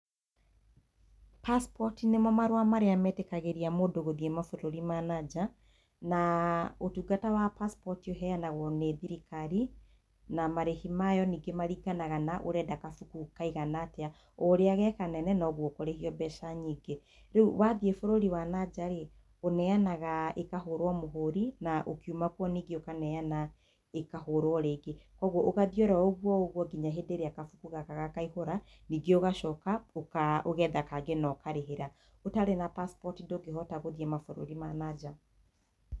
Passport nĩmo marũa marĩa metĩkagĩria mũndũ gũthiĩ mabũrũri ma nanja na ũtungata wa passport ũheanagwo nĩ thirikari na marĩhi mayo ningĩ marĩnganaga na ũrenda gabuku kaigana atĩa, o ũrĩa ge kanene nogwo ũkũrĩhio mbeca nyingĩ. Rĩu wathiĩ bũrũri wa nanja-rĩ, ũneanaga ĩkahũrwo mũhũri na ũkiuma kuo ningĩ ũkaneana ĩkahũrwo rĩngĩ, koguo ũgathiĩ oro ũgwo ũgwo nginya hĩndĩ ĩrĩa gabuku gaka gakaihũra ningĩ ũgacoka ũka ũgetha kangĩ na ũkarĩhĩra. Ũtarĩ na passport ndũngĩhota gũthiĩ mabũrũri ma nanja.